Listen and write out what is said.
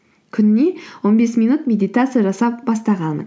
күніне он бес минут медитация жасап бастағанмын